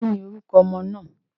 Kí ni orúkọ ọmọ náà?